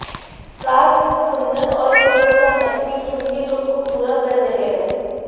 साथ में कुंदन और पर्ल का नेकपीस उनके लुक को पूरा कर रहें हैं